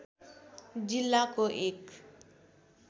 जिल्लाको एक